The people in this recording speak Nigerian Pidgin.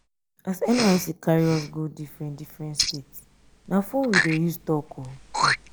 as nysc carry us go differen differen state na fone we dey use talk o.